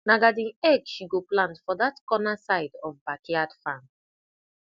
na garden egg she go plant for that corner side of backyard farm